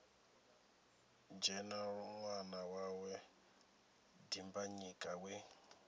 dzhena ṅwana wawe dimbanyika we